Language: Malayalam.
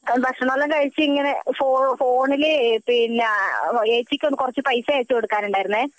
ഭക്ഷണം എല്ലാം കഴിച്ചു ഇങ്ങനെ ഫോണില് പിന്ന ഏച്ചിക്കു കുറച്ചു പൈസ അയച്ചു കൊടുക്കാനുണ്ടായിരുന്നെ